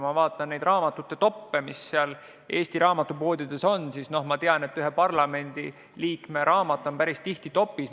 Ma olen vaadanud Eesti raamatupoodide top'e ja ma tean, et ühe parlamendiliikme raamat on päris tihti top'is.